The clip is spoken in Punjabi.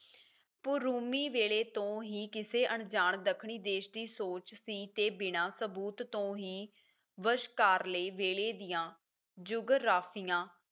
ਪਰੂਮੀ ਵੇਲੇ ਤੋਂ ਹੀ ਕਿਸੇ ਅਣਜਾਣ ਦੱਖਣੀ ਦੇਸ਼ ਦੀ ਸੋਚ ਸੀ ਤੇ ਬਿਨਾਂ ਸਬੂਤ ਤੋਂ ਹੀ ਵਸ਼ਕਾਰ ਲਈ ਵੇਲੇ ਦੀਆਂ ਜੁਗਰਾਫੀਆਂ